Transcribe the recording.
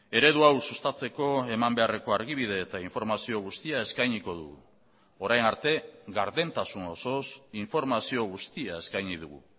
eredu hau sustatzeko eman beharreko argibide eta informazio guztia eskainiko dugu orain arte gardentasun osoz informazio guztia eskaini dugu